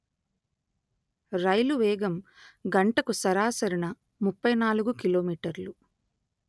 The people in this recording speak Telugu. రైలు వేగం గంటకు సరాసరిన ముప్పై నాలుగు కిలో మీటర్లు